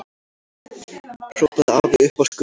hrópaði afi uppi á skörinni.